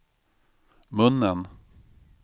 munnen